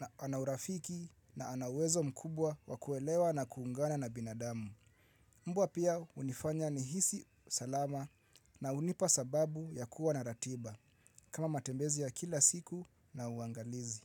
na ana urafiki na ana uwezo mkubwa wakuelewa na kuungana na binadamu. Mbwa pia hunifanya ni hisi salama na hunipa sababu ya kuwa na ratiba. Kama matembezi ya kila siku na uangalizi.